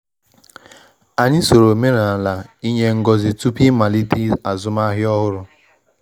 Anyi soro omenala inye ngozị tupu ịmalite azụmahịa ọhụrụ.